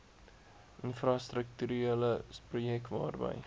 infrastrukturele projekte waarby